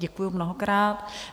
Děkuji mnohokrát.